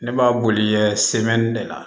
Ne b'a boli kɛ de la